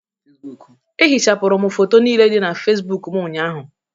M ehichapụrụ foto niile dị na facebook m ụnyaahụ